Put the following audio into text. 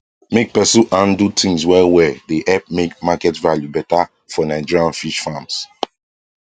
make person handle things well well dey help make market value better for nigerian fish farms